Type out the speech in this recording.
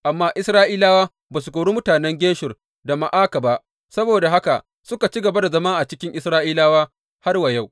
Amma Isra’ilawa ba su kori mutanen Geshur da Ma’aka ba, saboda haka suka ci gaba da zama cikin Isra’ilawa har wa yau.